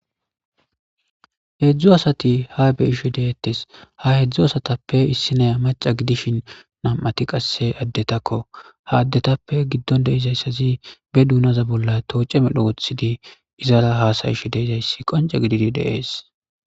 Heedzdzu asati ha beyishe deettes ha hedzdzu asatappe issinaya maca gidishin nam'ati qasse addetakko ha addetappe giddon deizayssazi be duunaza bolla tooce medho wothidi izara haasayish deezayssi qonce gididi deees.